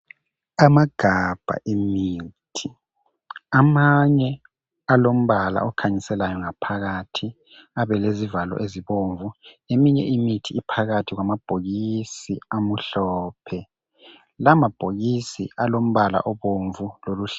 Amagabha awemithi amanye alombala okhanyiselayo ngaphakathi alezivalo ezibomvu eminye imithi iphakathi kwama bhokisi amhlophe lawamabhokisi alombala omhlophe